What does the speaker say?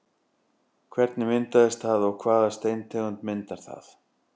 Hvernig myndast það og hvaða steintegund myndar það?